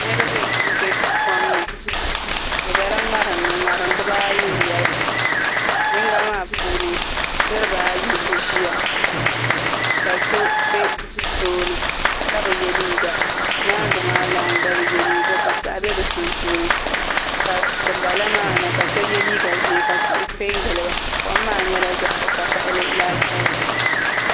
Niraba n bɛ kom ni bi biɛla ŋarim ni ŋarim dibaayi n nyɛli yinga maa puuni niraba ayi n ʒiya ka so bɛ tooni ka bi yɛ liiga nyaangi maa lan gba bi yɛ liiga ka piɛɣu bɛ bi sunsuuni ka dinbala maa ni la so yɛ liiga ʒiɛ ka tihi piɛ n giliba kom maa nyɛla zaɣ vakaɣali laasabu